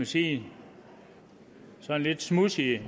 sige sådan lidt smudsige